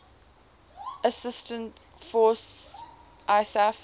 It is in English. assistance force isaf